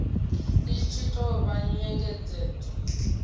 i tshi tou vha nyengedzedzo